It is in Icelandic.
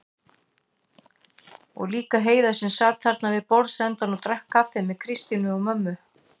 Og líka Heiða sem sat þarna við borðsendann og drakk kaffi með Kristínu og mömmu.